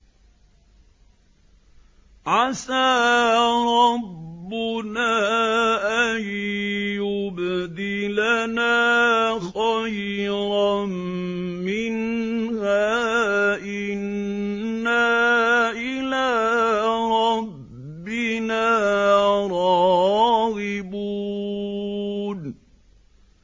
عَسَىٰ رَبُّنَا أَن يُبْدِلَنَا خَيْرًا مِّنْهَا إِنَّا إِلَىٰ رَبِّنَا رَاغِبُونَ